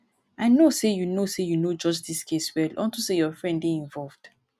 i know say you no say you no judge dis case well unto say your friend dey involved